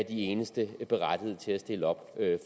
eneste berettigede til at stille op